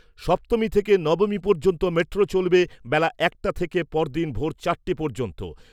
সপ্তমী থেকে নবমী পর্যন্ত মেট্রো চলবে বেলা একটা থেকে পরদিন ভোর চারটে পর্যন্ত।